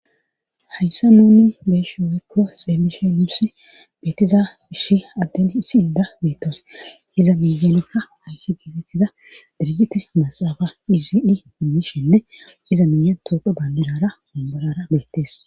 Hayssa nuuni beeshi woykko xeemmishe mursi beetiza ishi adden isi inda beettoos iza miyeelekka hayssi gidetiza dirigiti masaafa hizii minishenne iza miyen tooqo bandidara umborara beettees.